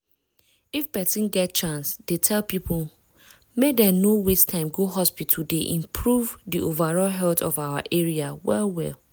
if persin get chance dey tell people make dem no waste time go hospital dey improve di overall health of our area well well.